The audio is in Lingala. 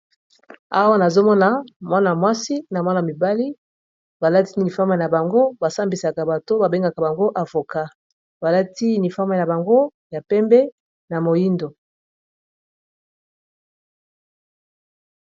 awa nazomona mwana mwasi na mwana mibali balati nifame ya bango basambisaka bato babengaka bango avoka balati nifame ya bango ya pembe na moindo